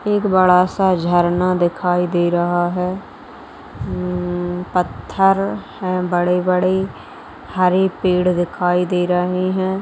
एक बड़ा-सा झरना दिखाई दे रहा है ऊ पत्थर हैं बड़े-बड़े हरे पेड़ दिखाई दे रहे है।